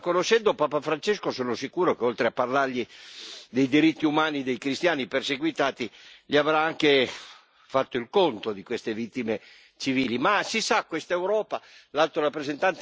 È vero che il Papa ha ricevuto Erdogan, ma conoscendo Papa Francesco sono sicuro che, oltre a parlargli dei diritti umani dei cristiani perseguitati, gli avrà anche fatto il conto di queste vittime civili.